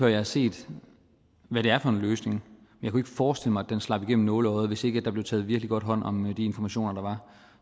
jeg har set hvad det er for en løsning jeg kunne ikke forestille mig at den slap igennem nåleøjet hvis ikke der blev taget virkelig godt hånd om de informationer der var